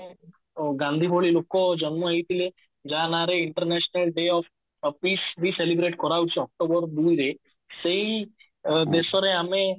ଅ ଗାନ୍ଧୀ ଭଳି ଲୋକ ଜନ୍ମ ହେଇଥିଲେ ଯାହା ନାରେ international day of peace ବି celebrate କରା ହଉଛି October ଦୁଇ ରେ ସେଇ ଅ ଦେଶରେ ଆମେ